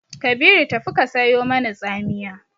Kabiru tafi ka sayo mani tsamiya!